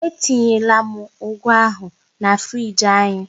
Etinyela m ụ́gù ahụ na friiji anyị.